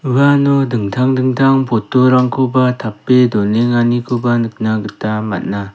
uano dingtang dingtang poto rangko ba tape donenganikoba nikna gita man·a.